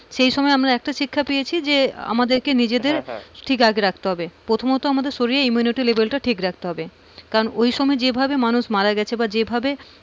সেই সময় একটা শিক্ষা পেয়েছি যে আমাদের নিজেদের হ্যাঁ হ্যাঁ কে ঠিক রাখতে হবে, প্রথমত আমাদের শরীরের immunity level টা ঠিক রাখতে হবে, কারণ ঐসময় যে ভাবে মানুষ মারা গিয়েছে, বা যে ভাবে,